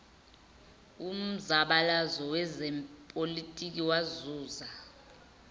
umzabalazo wezepolitiki wazuza